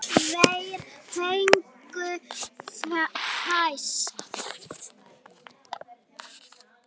Tveir fengu fésekt.